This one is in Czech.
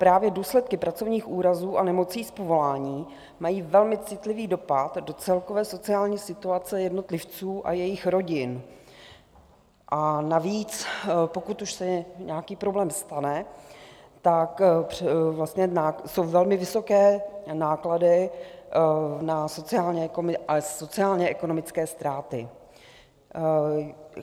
Právě důsledky pracovních úrazů a nemocí z povolání mají velmi citlivý dopad do celkové sociální situace jednotlivců a jejich rodin, a navíc, pokud už se nějaký problém stane, tak jsou velmi vysoké náklady a sociálně ekonomické ztráty.